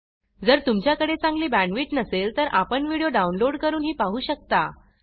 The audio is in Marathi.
जर तुमच्याकडे चांगली बॅंडविड्त नसेल तर व्हिडीओ डाउनलोड करूनही पाहू शकता